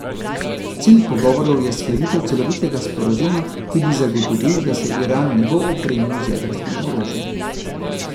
Cilj pogovorov je sklenitev celovitega sporazuma, ki bi zagotovil, da se Iran ne bo opremil z jedrskim orožjem.